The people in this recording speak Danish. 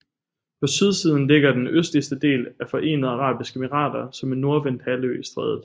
På sydsiden ligger den østligste del af Forenede Arabiske Emirater som en nordvendt halvø i strædet